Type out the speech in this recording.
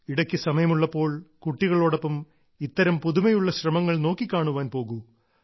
ഇടയ്ക്ക് സമയമുള്ളപ്പോൾ കുട്ടികളോടൊപ്പം ഇത്തരം പുതുമയുള്ള ശ്രമങ്ങളെ നോക്കിക്കാണുവാൻ പോകൂ